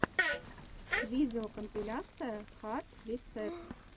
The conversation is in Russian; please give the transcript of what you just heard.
видеокомпиляция хард ресэт